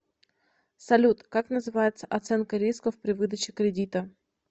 салют как называется оценка рисков при выдаче кредита